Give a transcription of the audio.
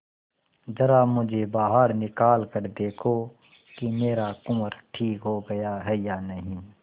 जरा मुझे बाहर निकाल कर देखो कि मेरा कुंवर ठीक हो गया है या नहीं